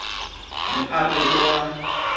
ne a re o a